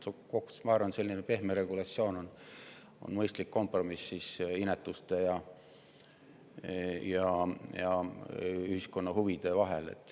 Ma arvan, et selline pehme regulatsioon on mõistlik kompromiss inetuste ja ühiskonna huvide vahel.